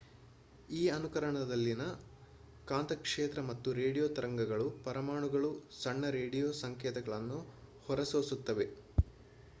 ಈ ಅನುರಣನದಲ್ಲಿ ಕಾಂತಕ್ಷೇತ್ರ ಮತ್ತು ರೇಡಿಯೊ ತರಂಗಗಳು ಪರಮಾಣುಗಳು ಸಣ್ಣ ರೇಡಿಯೊ ಸಂಕೇತಗಳನ್ನು ಹೊರಸೂಸುತ್ತವೆ